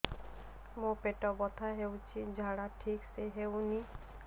ମୋ ପେଟ ବଥା ହୋଉଛି ଝାଡା ଠିକ ସେ ହେଉନି